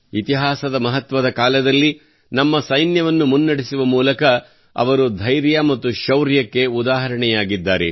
ಇತಿಹಾಸದ ಮಹತ್ವದ ಕಾಲದಲ್ಲಿ ನಮ್ಮ ಸೈನ್ಯವನ್ನು ಮುನ್ನಡೆಸುವ ಮೂಲಕ ಅವರು ಧೈರ್ಯ ಮತ್ತು ಶೌರ್ಯಕ್ಕೆ ಉದಾಹರಣೆಯಾಗಿದ್ದಾರೆ